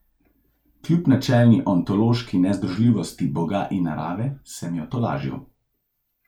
Kljub načelni ontološki nezdružljivosti boga in narave sem jo tolažil.